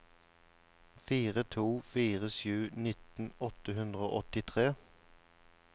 fire to fire sju nitten åtte hundre og åttitre